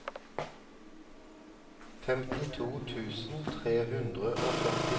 femtito tusen tre hundre og førtiseks